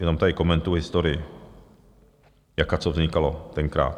Jenom tady komentuji historii, jak a co vznikalo tenkrát.